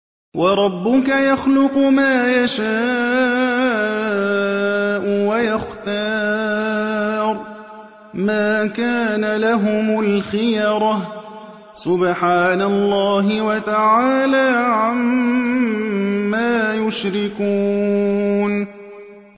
وَرَبُّكَ يَخْلُقُ مَا يَشَاءُ وَيَخْتَارُ ۗ مَا كَانَ لَهُمُ الْخِيَرَةُ ۚ سُبْحَانَ اللَّهِ وَتَعَالَىٰ عَمَّا يُشْرِكُونَ